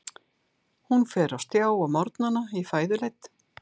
Hún fer á stjá á morgnana í fæðuleit.